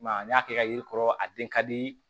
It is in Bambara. N y'a kɛ yiri kɔrɔ a den ka di